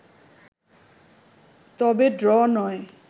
তবে ড্র নয়